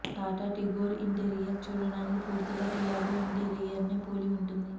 Tata Tigor interior చూడ్డానికి పూర్తిగా Tiago ఇంటీరియర్నే పోలి ఉంటుంది